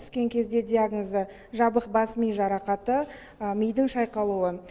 түскен кезде диагнозы жабық бас ми жарақаты мидың шайқалуы